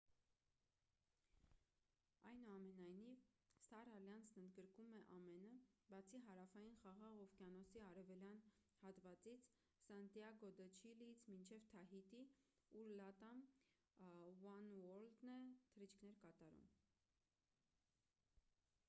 այնուամենայնիվ սթար ալյանսն ընդգրկում է ամենը բացի հարավային խաղաղ օվկիանոսի արևելյան հատվածից սանտիագո դը չիլիից մինչև թահիթի ուր լատամ ուանուորլդն է թռիչքներ կատարում